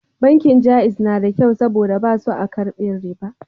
Bankin Jaiz na da kyau saboda ba su a karbin riba